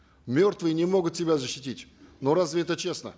мертвые не могут себя защитить но разве это честно